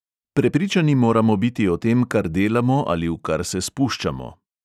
Prepričani moramo biti o tem, kar delamo ali v kar se spuščamo.